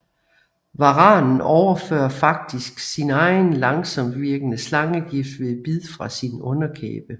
Varanen overfører faktisk sin egen langsomtvirkende slangegift ved bid fra sin underkæbe